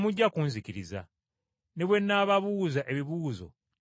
ne bwe nnaababuuza ebibuuzo temujja kunnyanukula.